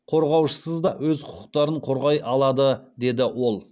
қорғаушысыз да өз құқықтарын қорғай алады деді ол